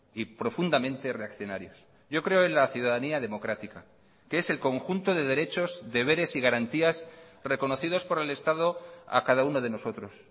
y profundamente reaccionarios yo creo en la ciudadanía democrática que es el conjunto de derechos deberes y garantías reconocidos por el estado a cada uno de nosotros